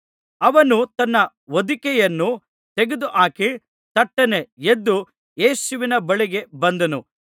ಅವನು ತನ್ನ ಹೊದಿಕೆಯನ್ನು ತೆಗೆದುಹಾಕಿ ತಟ್ಟನೆ ಎದ್ದು ಯೇಸುವಿನ ಬಳಿಗೆ ಬಂದನು